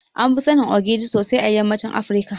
Anfi sanin Ogiri sosai a yammacin Afirika.